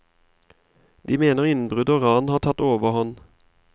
De mener innbrudd og ran har tatt overhånd.